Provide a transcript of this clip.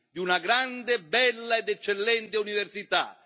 di una grande, bella ed eccellente università.